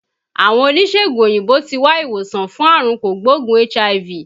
Àwọn oníṣègùn òyìnbó tí wá ìwòsàn fún àrùn kò gbóògùn HIV